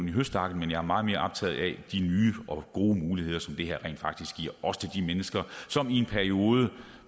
i høstakken men jeg er meget mere optaget af de nye og gode muligheder som det her rent faktisk giver også til de mennesker som i en periode